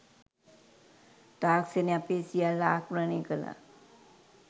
තාක්‍ෂණය අපේ සියල්ල ආක්‍රමණය කළා.